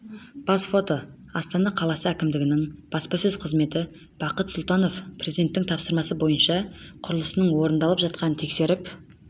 бас фото астана қаласы әкімдігінің баспасөз қызметі бақыт сұлтанов президенттің тапсырмасы бойынша құрылысының орындалып жатқанын тексеріп